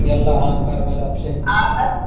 ಎಲ್ಲಾ ಅಬ್ಷೇಕ್ .